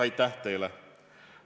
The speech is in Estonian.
Aitäh teile!